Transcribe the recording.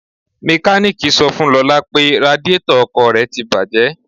Mekaniiki sọ fún Lọ́la pé radíetọ̀ ọkọ̀ rẹ́ ti bàjé.